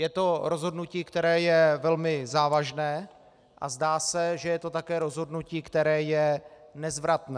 Je to rozhodnutí, které je velmi závažné, a zdá se, že je to také rozhodnutí, které je nezvratné.